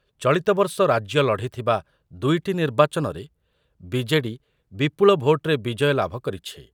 ଚଳିତବର୍ଷ ରାଜ୍ୟ ଲଢ଼ିଥିବା ଦୁଇଟି ନିର୍ବାଚନରେ ବିଜେଡ଼ି ବିପୁଳ ଭୋଟ୍‌ରେ ବିଜୟ ଲାଭ କରିଛି ।